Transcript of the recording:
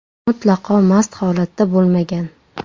mutlaqo mast holatda bo‘lmagan.